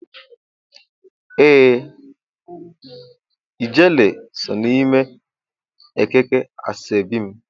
ee ,Gele so n'ime ekike asobi mu.